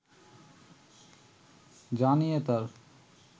যা নিয়ে তার